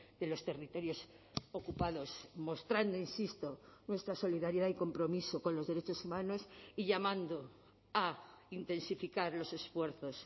de los territorios ocupados mostrando insisto nuestra solidaridad y compromiso con los derechos humanos y llamando a intensificar los esfuerzos